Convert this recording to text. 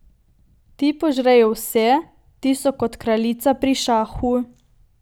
Ti požrejo vse, ti so kot kraljica pri šahu.